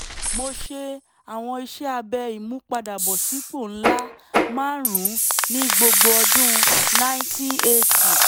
mo ṣe àwọn iṣẹ́ abẹ ìmúpadàbọ̀sípò ńlá márùn-ún ní gbogbo ọdún nineteen eighty